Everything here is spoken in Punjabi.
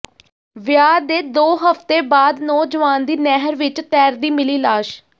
ਵਿਆਹ ਦੇ ਦੋ ਹਫ਼ਤੇ ਬਾਅਦ ਨੌਜਵਾਨ ਦੀ ਨਹਿਰ ਵਿਚ ਤੈਰਦੀ ਮਿਲੀ ਲਾਸ਼